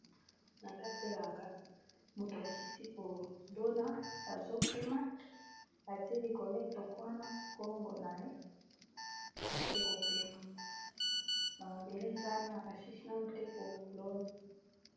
na kati ya elanga moto asisi kolona azopema atie likole etokwana nkongo na ye ake kopema bamabele eza na assisna te ko lona